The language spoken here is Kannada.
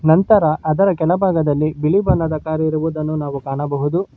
ಅಂತರ ಅದರ ಕೆಳಭಾಗದಲ್ಲಿ ಬಿಳಿ ಬಣ್ಣದ ಕಾರ್ ಇರುವುದನ್ನು ನಾವು ಕಾಣಬಹುದು.